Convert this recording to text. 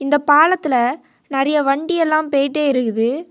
இந்த பாலத்துல நெறிய வண்டி எல்லாம் பேயிட்டே இருக்குது.